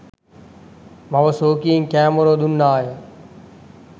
මව ශෝකයෙන් කෑ මොර දුන්නාය